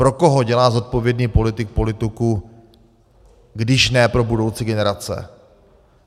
Pro koho dělá zodpovědný politik politiku, když ne pro budoucí generace?